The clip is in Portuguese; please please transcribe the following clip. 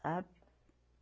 Sabe?